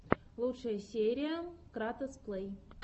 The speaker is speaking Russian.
лучшая серия кратос плэй